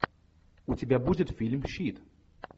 у тебя будет фильм щит